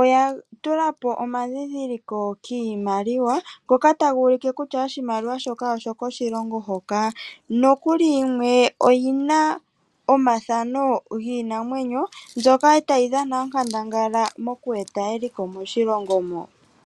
oya tula po omadhidhiliko kiimaliwa. Ngoka taga ulike kutya oshimaliwa shoka oshoko shilongo hoka. Nokuli yimwe oyina omafano giinamwenyo mbyoka tayi dhana onkandanga moku eta eliko moshilongo mo.